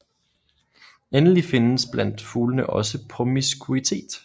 Endelig findes blandt fuglene også promiskuitet